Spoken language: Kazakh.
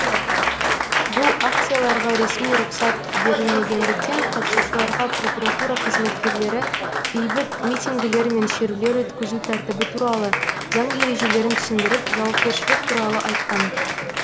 бұл акцияларға ресми рұқсат берілмегендіктен қатысушыларға прокуратура қызметкерлері бейбіт митингілер мен шерулер өткізу тәртібі туралы заң ережелерін түсіндіріп жауапкершілік туралы айтқан